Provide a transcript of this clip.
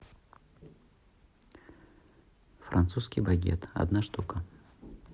французский багет одна штука